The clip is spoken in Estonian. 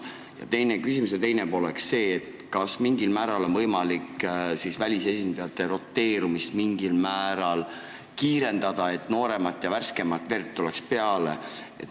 Ja küsimuse teine pool oleks see: kas on võimalik mingil määral ka välisesindajate roteerumist kiirendada, et tuleks peale nooremat ja värskemat verd?